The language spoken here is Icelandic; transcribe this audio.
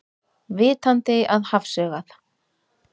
Vitandi að hafsaugað.